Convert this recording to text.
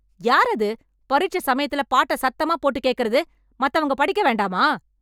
யாரது, பரிட்சை சமயத்துல பாட்டை சத்தமா போட்டு கேக்கறது? மத்தவங்க படிக்க வேண்டாமா...